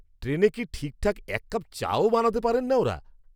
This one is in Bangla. ট্রেনে কি ঠিকঠাক এক কাপ চাও বানাতে পারেন না ওঁরা!